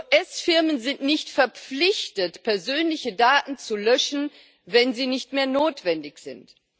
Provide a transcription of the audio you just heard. US-Firmen sind nicht verpflichtet, persönliche Daten zu löschen, wenn sie nicht mehr notwendig sind.